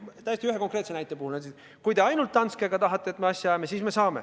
Nad võinuks öelda, et kui te ainult Dansket tahate, et me asja ajame, siis me saame.